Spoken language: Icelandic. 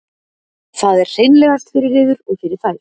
það er hreinlegast fyrir yður og fyrir þær